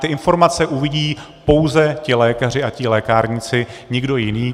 Ty informace uvidí pouze ti lékaři a ti lékárníci, nikdo jiný.